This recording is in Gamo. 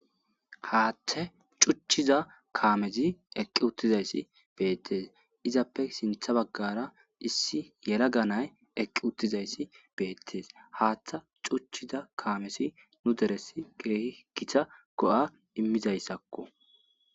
Hathe cutiza kamez eqi utidays betes, izappe sinta bagara yelaga na'ay eqi utid betes, Hatha cutiza kamez nu deres keeh Gita go'a imizaysako